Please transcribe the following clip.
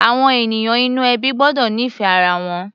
Àwọn ènìyàn inú ẹbí gbọ́dọ̀ nífẹ̀ẹ́ ara wọn.